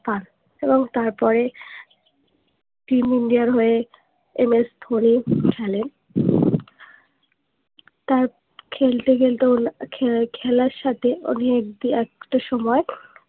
পাত এবং তার পরে teamIndia র হয়ে MS ধোনি খেলেন তার খেলতে খেলতে ওনার খেলার সাথে অনেক একটা সময়ে